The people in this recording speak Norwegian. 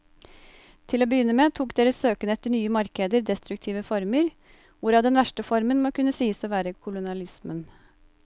Til å begynne med tok deres søken etter nye markeder destruktive former, hvorav den verste formen må kunne sies å være kolonialismen.